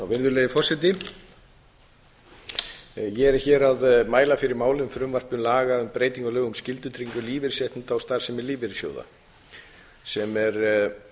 virðulegi forseti ég er hér að mæla fyrir frumvarpi til laga um breytingu á lögum um skyldutryggingu lífeyrisréttinda og starfsemi lífeyrissjóða sem er